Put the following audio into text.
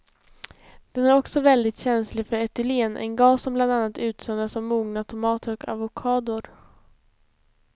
Den är också väldigt känslig för etylen, en gas som bland annat utsöndras av mogna tomater och avokador.